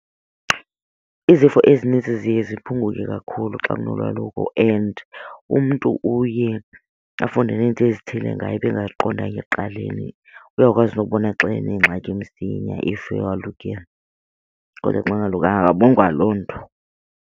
Izifo ezinintsi ziye ziphunguke kakhulu xa kunolwaluko and umntu uye afunde nento ezithile ngaye ebengaziqondanga ekuqaleni. Uyakwazi nokubona xa enengxaki msinya if walukile kodwa xa engolukanga akaboni kwaloo nto.